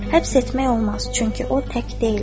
Həbs etmək olmaz, çünki o tək deyildir.